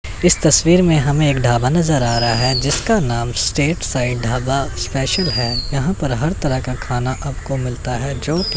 इस तस्वीर में हमें एक ढाबा नजर आ रहा है जिसका नाम स्टेट साईड ढाबा स्पेशल हैं यहाॅं पर हर तरह का खाना आपको मिलता है जो की--